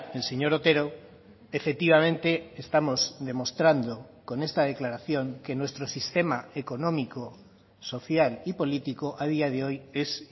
el señor otero efectivamente estamos demostrando con esta declaración que nuestro sistema económico social y político a día de hoy es